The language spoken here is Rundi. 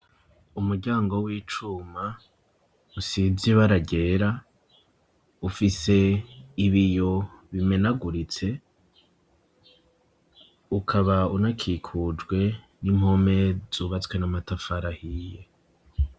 Umuryango w'icuma, usize ibara ryera, ufise ibiyo bimenaguritse; ukaba unakikujwe n'impome zubatswe n'amatafari ahiye.